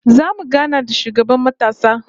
Zamu gana da shugaban matasa